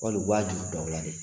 Wali u b'a juru don aw la de?